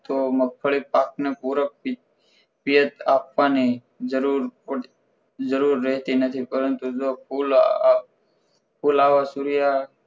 તો મગફળી પાકને પૂરો પ્રેત આપવાની જરૂર જરૂર રહેતી નથી પરંતુ જો ફૂલ ફુલાવર સૂર્યા